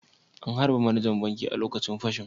An harbe manajan bankin ne a lokacin fashin